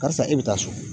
Karisa e bɛ taa so